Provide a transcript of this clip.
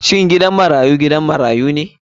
Shin gidan marayu gidan marayu ne?